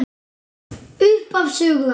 Upphaf sögu hans.